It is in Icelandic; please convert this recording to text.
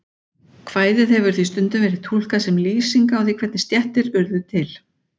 Kvæðið hefur því stundum verið túlkað sem lýsing á því hvernig stéttir urðu til.